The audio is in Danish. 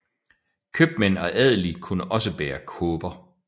Købmænd og adelige kunne også bære kåber